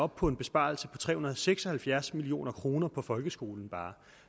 på en besparelse på tre hundrede og seks og halvfjerds million kroner bare på folkeskolen